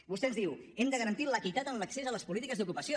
vostè ens diu hem de garantir l’equitat en l’accés a les polítiques d’ocupació